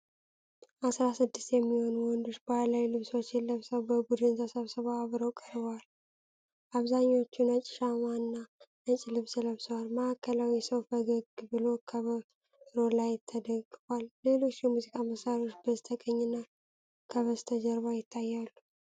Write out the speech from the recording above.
አሥራ ስድስት የሚሆኑ ወንዶች ባህላዊ ልብሶችን ለብሰው በቡድን ተሰብስበው አብረው ቀርበዋል። አብዛኞቹ ነጭ ሻማና ነጭ ልብስ ለብሰዋል። ማዕከላዊው ሰው ፈገግ ብሎ ከበሮ ላይ ተደግፏል። ሌሎች የሙዚቃ መሣሪያዎች በስተቀኝና ከበስተጀርባ ይታያሉ።